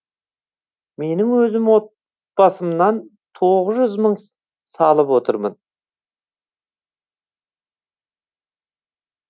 менің өзім от басымнан тоғыз жүз мың салып отырмын